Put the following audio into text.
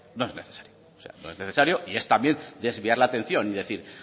no es necesario o sea no es necesario y es también desviar la atención y decir